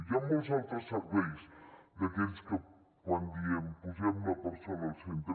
hi ha molts altres serveis d’aquells que quan diem posem la persona al centre